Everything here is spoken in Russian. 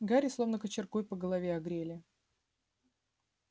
гарри словно кочергой по голове огрели